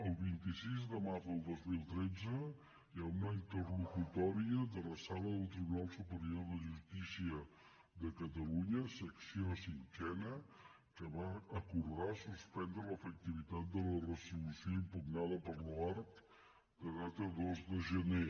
el vint sis de març del dos mil tretze hi ha una interlocutòria de la sala del tribunal superior de justícia de catalunya secció cinquena que va acordar suspendre l’efectivitat de la resolució impugnada per l’oarcc de data dos de gener